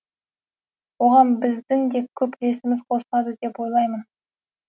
оған біздің де көп үлесіміз қосылады деп ойлаймын